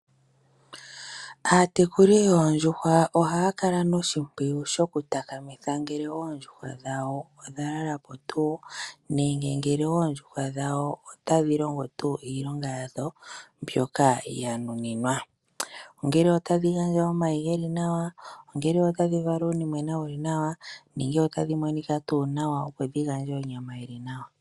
Aatekuli yoondjuhwa ohaya kala noshimpwiyu shoku takamitha ngele oondjuhwa dhawo odha lala po tuu nenge oondjuhwa dhawo otadhi longo tuu iilonga yadho mbyoka dhanuninwa. Ongele otadhi gandja omayi ge li nawa, ongele otadhi gandja uunimwena wu li nawa nenge otadhi monika tuu nawa opo dhi gandje onyama yi li nawa.